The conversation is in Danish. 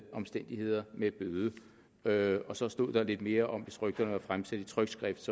omstændigheder med bøde så stod der lidt mere om at hvis rygterne var fremsat i trykt skrift